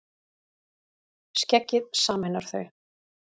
Skeggið sameinar þau